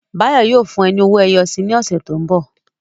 Báyọ̀ yóò fún ẹ ní owó ẹyọ si ní ọ̀sẹ̀ tó ń bọ̀